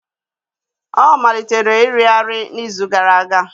Ọ malitere iri arị n'izu gara aga.